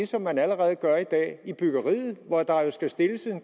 som man allerede gør i dag i byggeriet hvor der jo skal stilles